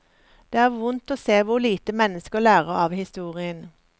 Det er vondt å se hvor lite mennesker lærer av historien.